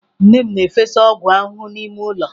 Nne m na-efesa ọgwụ ahụhụ n'ime ụlọ.